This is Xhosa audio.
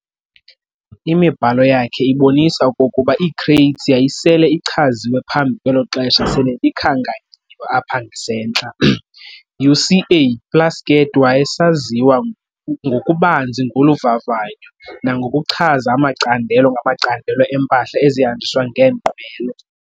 Imibhalo yakhe ibonisa okokuba ii-crates yayisele ichaziwe phambi kwelo xesha sele likhankanyiwe apha ngasentla. U-C. A. Plasket wayesaziwa ngokubanzi ngolu vavanyo nangokuchaza amacandelo ngamacandelo empahla ezihamnjiswa ngeenqwelo.